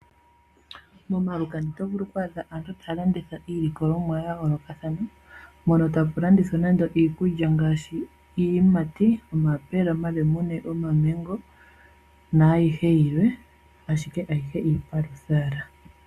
Momalukanda oto vulu okwaadha aantu taya landitha iilikolomwa ya yoolokathana, moka aantu haya landitha iikulya ngaashi iiyimati: omayapula, omalemune, omamengo niikwawo yilwe; ashike ayihe yomuyo iipalwitha owala.